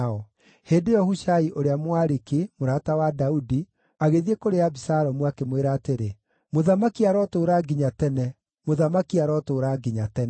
Hĩndĩ ĩyo Hushai ũrĩa Mũariki, mũrata wa Daudi, agĩthiĩ kũrĩ Abisalomu, akĩmwĩra atĩrĩ, “Mũthamaki arotũũra nginya tene! Mũthamaki arotũũra nginya tene!”